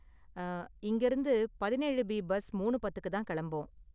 அ இங்கயிருந்து பதினேழு B bus மூணு பத்துக்குக்கு தான் கெளம்பும்.